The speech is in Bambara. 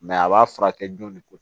a b'a furakɛ jɔn de ko